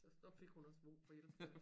Så fik hun også brug for hjælp